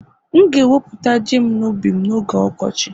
M'gēweputa Ji'm n'ubi m n'oge ọkọchị